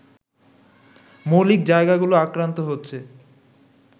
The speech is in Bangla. মৌলিক জায়গাগুলো আক্রান্ত হচ্ছে